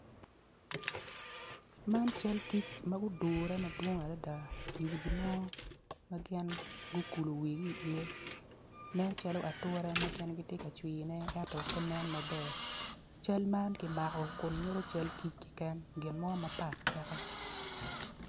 Man, cal kic magudure adada i wi gimo ma gin gukulu wigi iye nen calo atura ma gin gitye kacwiyone, ento pe nen maber, cal man kimako kun nyuto cal kic keken gin mo mapat peke.